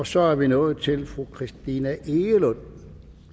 så er vi nået til fru christina egelund